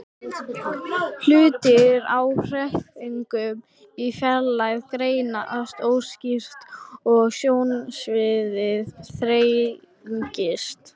Hlutir á hreyfingu í fjarlægð greinast óskýrar og sjónsviðið þrengist.